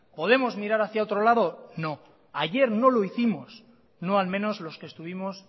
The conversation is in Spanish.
podemos mirar hacia otro lado no ayer no lo hicimos no al menos los que estuvimos